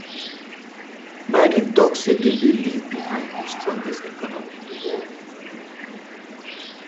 biden tok say dem dey leave behind di strongest economy in di world.